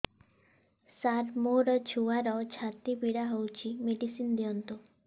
ସାର ମୋର ଛୁଆର ଛାତି ପୀଡା ହଉଚି ମେଡିସିନ ଦିଅନ୍ତୁ